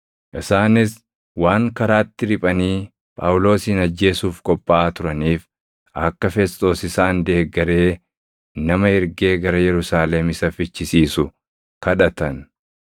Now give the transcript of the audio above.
Isaanis waan karaatti riphanii Phaawulosin ajjeesuuf qophaaʼaa turaniif akka Fesxoos isaan deeggaree nama ergee gara Yerusaalem isa fichisiisu kadhatan.